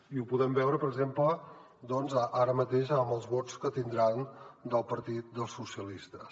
i ho podrem veure per exemple doncs ara mateix amb els vots que tindran del partit socialistes